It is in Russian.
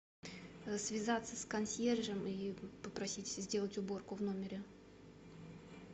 связаться с консьержем и попросить сделать уборку в номере